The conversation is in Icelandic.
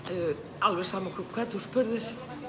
alveg sama hvern þú spurðir